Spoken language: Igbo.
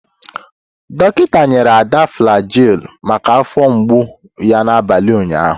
Dọkịta nyere Ada Flagyl maka afọ mgbu ya n'abalị ụnyaahụ.